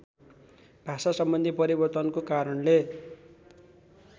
भाषासम्बन्धी परिवर्तनको कारणले